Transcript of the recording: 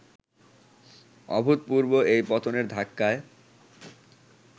অভূতপূর্ব এই পতনের ধাক্কায়